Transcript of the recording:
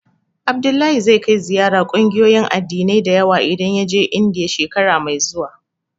Abdullahi zai kai ziyara ƙungiyoyin addinai da yawa idan ya je Indiya, shekara mai zuwa.